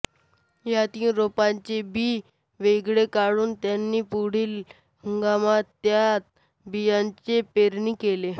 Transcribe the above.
या तीन रोपांचे बी वेगळे काढून त्यांनी पुढील हंगामात त्याच बियांची पेरणी केली